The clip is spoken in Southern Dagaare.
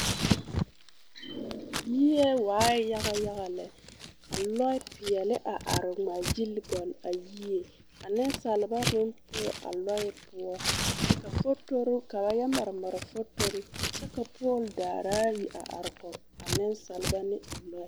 Yie waaɛ yaga yaga lɛ ka lɔɔpeɛle a are a ŋmaagyili gɔle a yie ka nensalba meŋ poɔ a lɔɛ poɔ ka fotori ka ba yɛ mare mare fotori kyɛ ka poole daari ayi a are kɔge a nensalba ne a lɔɛ.